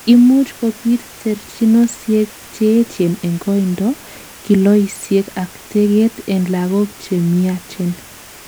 imuch kobit terchinosiek Cheechen en koindo, kiloisiek ak teget en lagok chemiachen